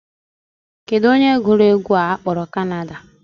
Kedụ onye gụrụ egwu a a kpọrọ Canada?